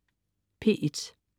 P1: